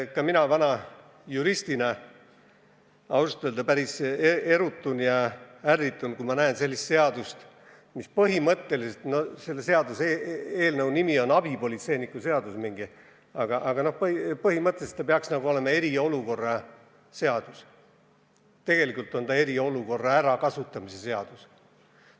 Ka mina vana juristina ausalt öeldes päris erutun ja ärritun, kui näen sellist seadust, mille nimi on mingisugune abipolitseiniku seadus, aga mis põhimõtteliselt peaks olema eriolukorra seadus – tegelikult on see eriolukorra ärakasutamise seadus.